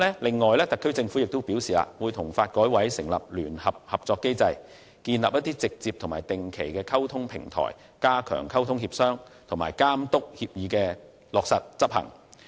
此外，特區政府亦表示會與發改委成立聯合合作機制，建立直接和定期溝通的平台，加強溝通協商，並監督協議落實執行。